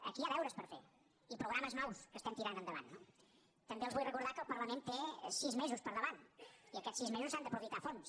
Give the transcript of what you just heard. aquí hi ha deures per fer i programes nous que estem tirant endavant no també els vull recordar que el parlament té sis mesos per davant i aquests sis mesos s’han d’aprofitar a fons